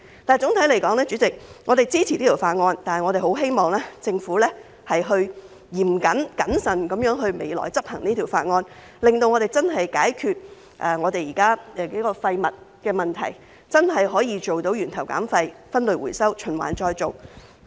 代理主席，總體而言，我們支持《條例草案》，但我十分希望政府在未來嚴謹、謹慎地執行《條例草案》，令我們能夠真正解決現在數個涉及廢物的問題，真的做到源頭減廢、分類回收、循環再造。